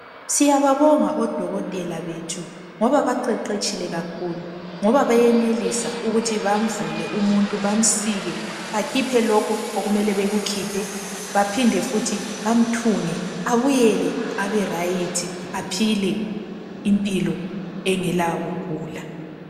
Siyababonga odokotela bethu ngoba baqeqetshile kakhulu, ngoba bayenelisa ukuthi bamvule umuntu bamsike bakhiphe lokho okumele bekukhiphe baphinde futhi bamthunge abuyele abe rayithi aphile impilo engela kugula.